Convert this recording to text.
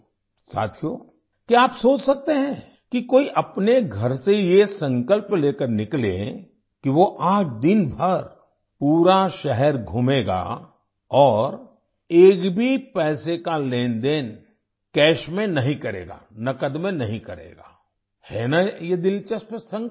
साथियो क्या आप सोच सकते हैं कि कोई अपने घर से ये संकल्प लेकर निकले कि वो आज दिन भर पूरा शहर घूमेगा और एक भी पैसे का लेनदेन कैश में नहीं करेगा नकद में नहीं करेगा है ना ये दिलचस्प संकल्प